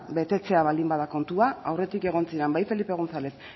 betetzea baldin bada kontua aurretik egon ziren bai felipe gonzález